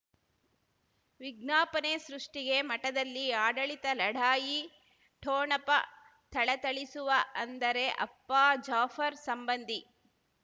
ವಿಜ್ಞಾಪನೆ ಸೃಷ್ಟಿಗೆ ಮಠದಲ್ಲಿ ಆಡಳಿತ ಲಢಾಯಿ ಠೋಣಪ ಥಳಥಳಿಸುವ ಅಂದರೆ ಅಪ್ಪ ಜಾಫರ್ ಸಂಬಂಧಿ